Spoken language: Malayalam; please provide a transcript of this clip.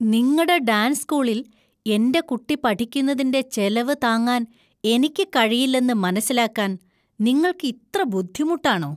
നിങ്ങടെ ഡാൻസ് സ്കൂളിൽ എന്‍റെ കുട്ടി പഠിക്കുന്നതിന്‍റെ ചെലവു താങ്ങാൻ എനിക്ക് കഴിയില്ലെന്ന് മനസിലാക്കാൻ നിങ്ങള്‍ക്ക് ഇത്ര ബുദ്ധിമുട്ടാണോ?